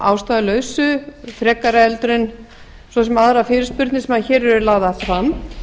ástæðulausu frekar heldur en aðrar fyrirspurnir sem hér eru lagðar fram